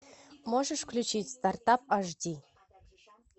можешь включить стартап ашди